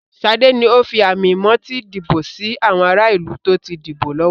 Sade ńi o fi àmì-moti dìbò sì àwọn ará ìlú tó ti dìbò lọ́wọ́.